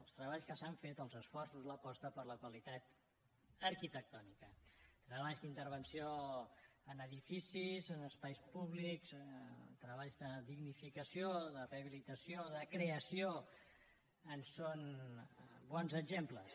els treballs que s’han fet els esforços l’aposta per la qualitat arquitectònica treballs d’intervenció en edificis en espais públics treballs de dignificació de rehabilitació de creació en són bons exemples